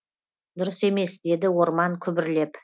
дұрыс емес деді орман күбірлеп